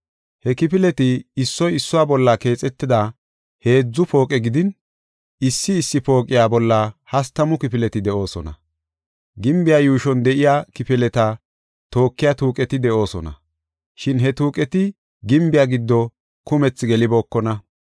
He kifileti issoy issuwa bolla keexetida heedzu pooqe gidin, issi issi pooqiya bolla hastamu kifileti de7oosona. Gimbiya yuushon de7iya kifileta tookiya tuuqeti de7oosona. Shin he tuuqeti gimbiya giddo kumethi gelibookona.